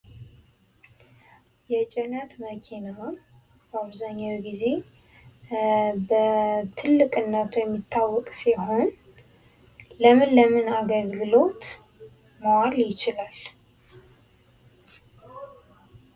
የጭነት መኪና በአብዛኛው ጊዜ በትልቅነቱ የሚታወቅ ሲሆን ለምን ለምን አገልግሎት ማዋል ይችላል።